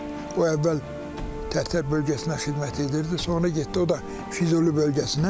O əvvəl Tərtər bölgəsinə xidmət edirdi, sonra getdi o da Füzuli bölgəsinə.